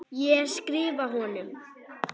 Ég skrifa honum!